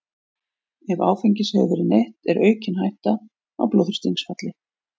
Ef áfengis hefur verið neytt er aukin hætta á blóðþrýstingsfalli.